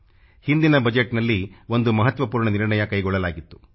ಹಿಂದಿನ ಬಜೆಟ್ನಲ್ಲಿ ಒಂದು ಮಹತ್ವಪೂರ್ಣ ನಿರ್ಣಯ ಕೈಗೊಳ್ಳಲಾಗಿತ್ತು